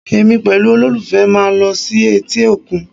Èmi pẹ̀lú olólùfẹ́ máa lọ sí etí òkun